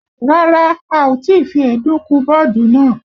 Rárá, a ò tí fi èédú kun bọ́ọ̀dù náà